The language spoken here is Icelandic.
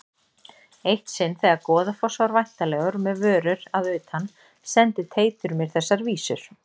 Eitt sinn þegar Goðafoss var væntanlegur með vörur að utan sendi Teitur mér þessar vísur